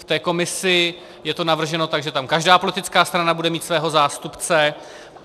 K té komisi je to navrženo tak, že tam každá politická strana bude mít svého zástupce.